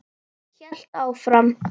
Hélt áfram.